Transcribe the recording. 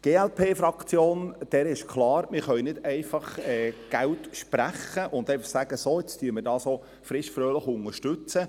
Der glp-Fraktion ist klar, dass man nicht einfach Geld sprechen kann und einfach sagen, dass wir dies frischfröhlich unterstützen.